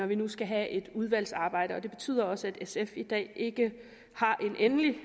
vi nu skal have et udvalgsarbejde og det betyder også at sf i dag ikke har en endelig